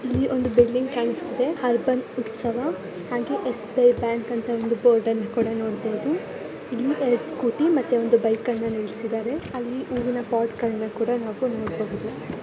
ಇಲ್ಲಿ ಒಂದು ಬಿಲ್ಡಿಂಗ್ ಕಾಣಿಸುತ್ತಾ ಇದೆ ಆರ್ಬನ್ ಉತ್ಸವ ಹಾಗೆ ಎಸ್.ಬಿ.ಐ ಬ್ಯಾಂಕ್ ಅಂತ ಹೇಳಿ ಒಂದು ಬೋರ್ಡ್ ಅನ್ನು ಕೂಡ ನೋಡಬಹುದು ಇಲ್ಲಿ ಎರೆಡು ಸ್ಕೂಟಿ ಒಂದು ಬೈಕ್ ಅನ್ನ ಕೂಡ ನಿಲ್ಲಿಸಿದ್ದಾರೆ ಅಲ್ಲಿ ಹೂವಿನ ಪಾಟ್ ಗಳನ್ನ ಕೂಡ ನಾವು --